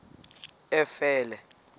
efele